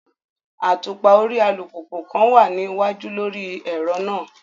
Atupa ori alupupu kan wa ni iwaju lori ẹrọ naa